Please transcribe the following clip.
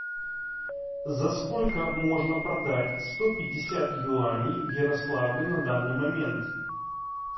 за сколько можно продать сто пятьдесят юаней в ярославле на данный момент